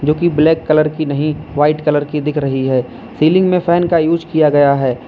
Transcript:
की black colour की नहीं व्हाइट कलर की दिख रही है सीलिंग में फैन का उसे किया गया है।